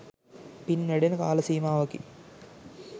පින් වැඩෙන කාල සීමාවකි.